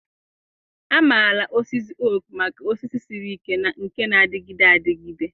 A maara osisi oak maka osisi siri ike na nke na-adịgide adịgide.